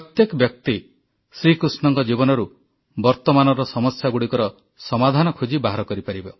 ପ୍ରତ୍ୟେକ ବ୍ୟକ୍ତି ଶ୍ରୀ କୃଷ୍ଣଙ୍କ ଜୀବନରୁ ବର୍ତ୍ତମାନର ସମସ୍ୟାଗୁଡ଼ିକର ସମାଧାନ ଖୋଜି ବାହାର କରିପାରିବ